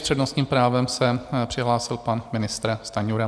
S přednostním právem se přihlásil pan ministr Stanjura.